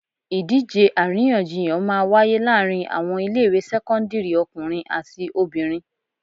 Ìdíje àríyànjiyàn máa wáyé láàárín àwọn ilé ìwé sẹ́kọ́ńdírì ọkùnrin àti obìnrin.